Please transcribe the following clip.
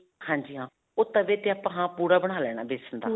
ਹਾਂਜੀ ਹਾਂ. ਉਹ ਤਵੇ ਤੇ ਆਪਾਂ ਹਾਂ, ਪੂੜਾ ਬਣਾ ਲੈਣਾ ਬੇਸਨ ਦਾ.